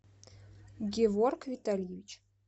геворг витальевич